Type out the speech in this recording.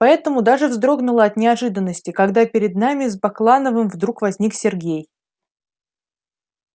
поэтому даже вздрогнула от неожиданности когда перед нами с баклановым вдруг возник сергей